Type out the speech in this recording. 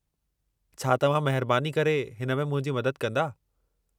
छा तव्हां महिरबानी करे हिन में मुंहिंजी मदद कंदा?